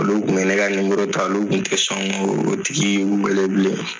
Olu tun bɛ ne ka ta olu kun te sɔn k'o tigi weele bilen.